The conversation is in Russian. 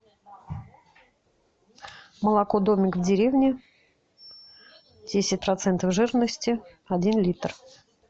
молоко домик в деревне десять процентов жирности один литр